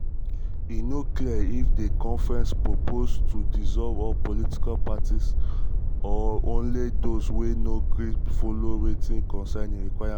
e no clear if di conference propose to dissolve all political parties political parties or only those wey no gree follow wit certain requirements.